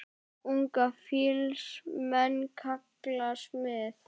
Unga fýls menn kalla smið.